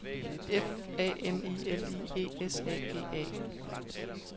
F A M I L I E S A G A